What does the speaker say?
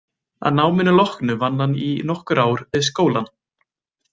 Að náminu loknu vann hann í nokkur ár við skólann.